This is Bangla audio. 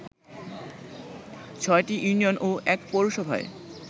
৬টি ইউনিয়ন ও ১ পৌরসভায়